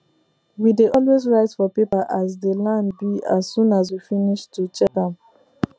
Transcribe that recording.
we dey always write for paper as dey land be as soon as we finis to check am